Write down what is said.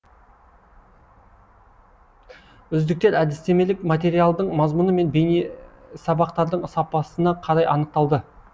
үздіктер әдістемелік материалдың мазмұны мен бейнесабақтардың сапасына қарай анықталды